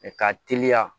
Mɛ ka teliya